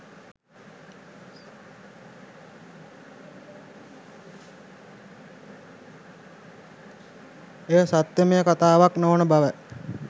එය සත්‍යමය කථාවක් නොවන බවයි.